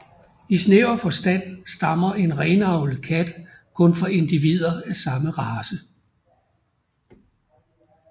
I snæver forstand stammer en renavlet kat kun fra individer af samme race